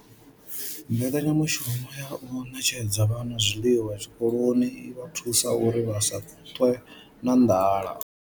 Mbekanyamushumo ya u ṋetshedza vhana zwiḽiwa zwikoloni i vha thusa uri vha si ṱwe na nḓala.